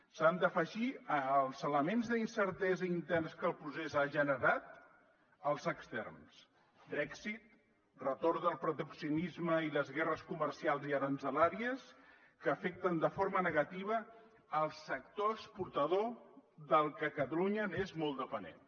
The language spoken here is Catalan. s’hi han d’afegir als elements d’incertesa interns que el procés ha generat els externs brexit retorn del proteccionisme i les guerres comercials i aranzelàries que afecten de forma negativa el sector exportador del que catalunya és molt dependent